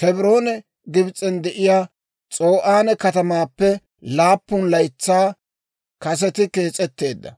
Kebrooni Gibs'en de'iyaa S'o'aane katamaappe laappun laytsaa kaseti kees'etteedda.